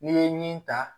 N'i ye min ta